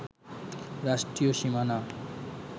রাষ্ট্রীয় সীমানা